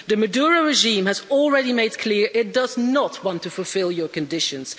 The Maduro regime has already made clear, it does not want to fulfil your conditions.